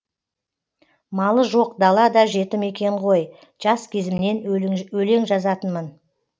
малы жоқ дала да жетім екен ғой жас кезімнен өлең жазатынмын